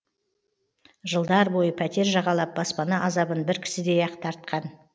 жылдар бойы пәтер жағалап баспана азабын бір кісідей ақ тартқан